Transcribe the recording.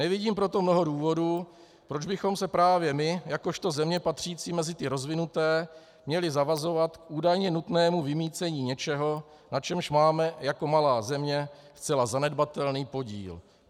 Nevidím proto mnoho důvodů, proč bychom se právě my jakožto země patřící mezi ty rozvinuté měli zavazovat k údajně nutnému vymýcení něčeho, na čemž máme jako malá země zcela zanedbatelný podíl.